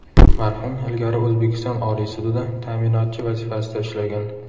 Marhum ilgari O‘zbekiston Oliy sudida ta’minotchi vazifasida ishlagan .